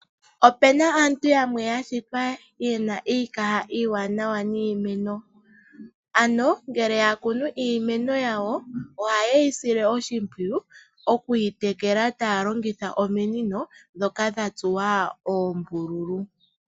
Opena aantu yamwe yashitwa yena iikaha iiwanawa nokukuna iimeno,, ano ngele yakunu iimeno yawo, ohayi sile oshimpwiyu okwiitekela taa longitha ominino, ndhoka dha tsuwa oombululu.